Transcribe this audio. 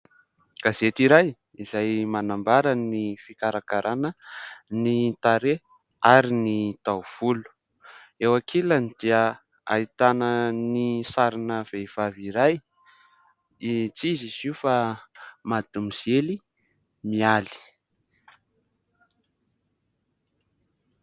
Gazety iray izay manambara ny fikarakaràna ny tarehy ary ny taovolo. Eo ankilany dia ahitana ny sarina vehivavy iray tsy iza izy io fa madimozely Mialy.